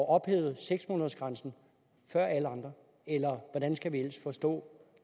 ophævet seks månedersgrænsen før alle andre eller hvordan skal vi ellers forstå